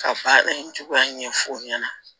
Ka baara in cogoya ɲɛfɔ o ɲɛna